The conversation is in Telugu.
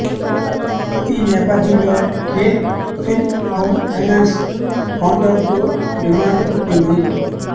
ఈ నేపథ్యంలో కేన్ ఫిన్ హోమ్ ఫైనాన్స్ కౌంటర్కు డిమాండ్ పుట్టింది